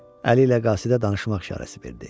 Əli ilə qasidə danışmaq işarəsi verdi.